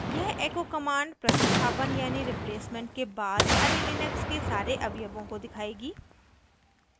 यह echo command प्रतिस्थापन यानी replacement के बाद array लिनक्स के सारे अवयवों को दिखाएगी